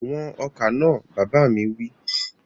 Wọn ọkà náà! Bàbá mi wí.